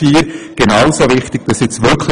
Genauso wichtig ist Punkt 4: